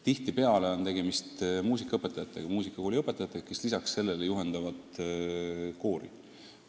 Tihtipeale on tegemist koolide muusikaõpetajatega, sh muusikakoolide õpetajatega, kes lisaks sellele tööle juhendavad koori.